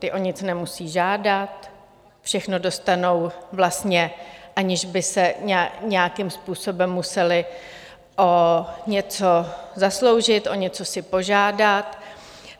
Ti o nic nemusí žádat, všechno dostanou vlastně, aniž by se nějakým způsobem museli o něco zasloužit, o něco si požádat.